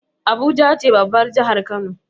abuja ce babbar jahar kano